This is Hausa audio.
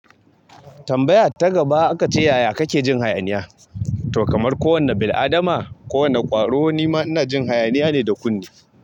Tambaya ta gaba aka ce, "yaya kake jin hayaniya?" To, kamar kowane bil'adama, kowane kwaro ni ma ina jin hayaniya ne da kunne.